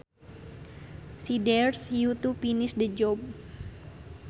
She dares you to finish the job